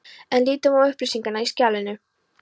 En lítum á upplýsingarnar í skjalinu.